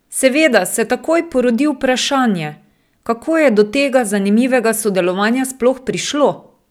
Seveda se takoj porodi vprašanje, kako je do tega zanimivega sodelovanja sploh prišlo?